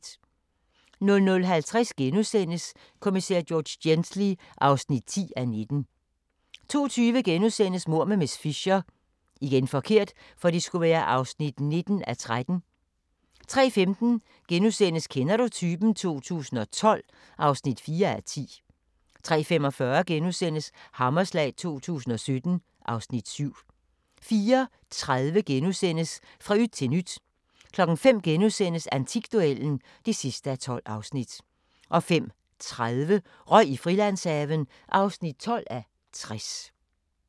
00:50: Kommissær George Gently (10:19)* 02:20: Mord med miss Fisher (19:13)* 03:15: Kender du typen? 2012 (4:10)* 03:45: Hammerslag 2017 (Afs. 7)* 04:30: Fra yt til nyt 05:00: Antikduellen (12:12)* 05:30: Røg i Frilandshaven (12:60)